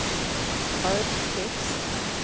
brödtext